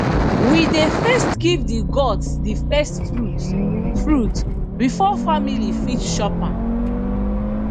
we dey first give the gods the first fruit fruit before family fit chop am